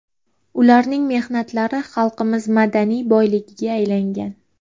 Ularning mehnatlari xalqimiz madaniy boyligiga aylangan.